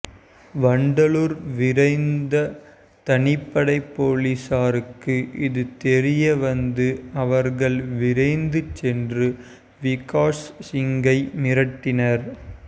வண்டலூர் விரைந்த தனிப்படை போலீஸாருக்கு இது தெரிய வந்து அவர்கள் விரைந்து சென்று விகாஷ் சிங்கை மீட்டனர்